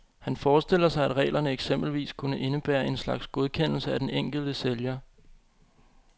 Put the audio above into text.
Han forestiller sig, at reglerne eksempelvis kunne indebære en slags godkendelse af den enkelte sælger.